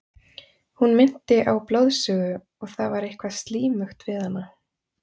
Hún minnti á blóðsugu og það var eitthvað slímugt við hana.